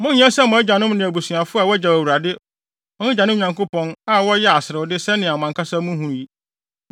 Monnyɛ sɛ mo agyanom ne mo abusuafo a wogyaw Awurade, wɔn agyanom Nyankopɔn, a wɔyɛɛ aserewde sɛnea mo ankasa muhu yi.